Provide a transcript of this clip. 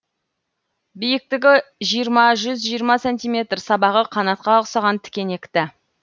биіктігі жиырма жүз жиырма сантиметр сабағы қанатқа ұқсаған тікенекті